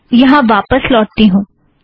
अब यहाँ वापस लौटती हूँ